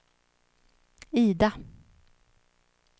Ida